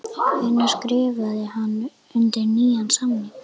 Hvenær skrifaði hann undir nýjan samning?